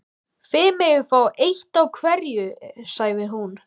Þið megið fá eitt af hverju sagði hún.